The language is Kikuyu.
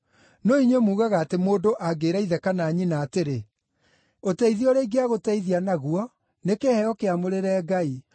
No inyuĩ muugaga atĩ mũndũ angĩĩra ithe kana nyina atĩrĩ, ‘Ũteithio ũrĩa ingĩagũteithia naguo, nĩ kĩheo kĩamũrĩre Ngai,’